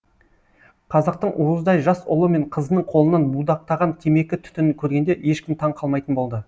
қазақтың уыздай жас ұлы мен қызының қолынан будақтаған темекі түтінін көргенде ешкім таң қалмайтын болды